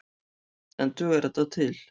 En dugar þetta til?